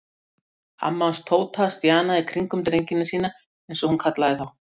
Amma hans Tóta stjanaði í kringum drengina sína eins og hún kallaði þá.